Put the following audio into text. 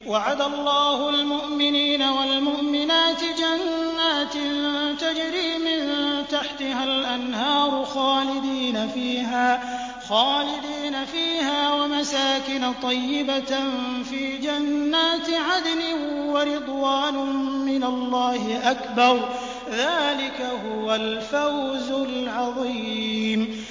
وَعَدَ اللَّهُ الْمُؤْمِنِينَ وَالْمُؤْمِنَاتِ جَنَّاتٍ تَجْرِي مِن تَحْتِهَا الْأَنْهَارُ خَالِدِينَ فِيهَا وَمَسَاكِنَ طَيِّبَةً فِي جَنَّاتِ عَدْنٍ ۚ وَرِضْوَانٌ مِّنَ اللَّهِ أَكْبَرُ ۚ ذَٰلِكَ هُوَ الْفَوْزُ الْعَظِيمُ